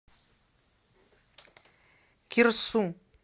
кирсу